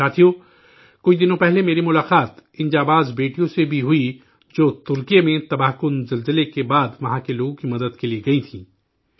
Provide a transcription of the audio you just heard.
ساتھیو، کچھ دنوں پہلے میری ملاقات ان جانباز بیٹیوں سے بھی ہوئی، جو ترکی تباہ کن زلزلہ کے بعد وہاں کے لوگوں کی مدد کے لیے گئی تھیں